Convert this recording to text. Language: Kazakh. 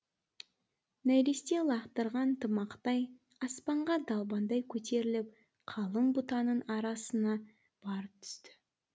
нәресте лақтырған тымақтай аспанға далбаңдай көтеріліп қалың бұтаның арасына барып түсті